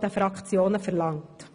der Fraktionen verlangt.